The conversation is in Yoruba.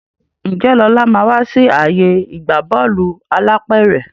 Njé Lọla má wá sí ààyè ìgbà Bọ́ọ̀lù alápẹ̀rẹ̀